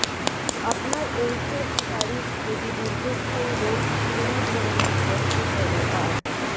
আপনার ঔষধ তারিখ যদি দীর্ঘস্থায়ী রোগ কোন ধরণের কষ্ট করে আর